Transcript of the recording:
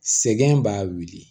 Sɛgɛn b'a wuli